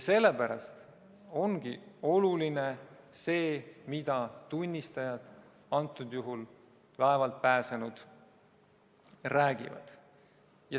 Sellepärast ongi oluline see, mida tunnistajad, praegusel juhul laevalt pääsenud, räägivad.